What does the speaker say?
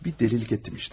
Bir dəlilik etdim işte.